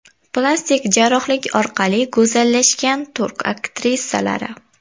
Plastik jarrohlik orqali go‘zallashgan turk aktrisalari .